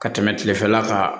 Ka tɛmɛ kilefɛla kan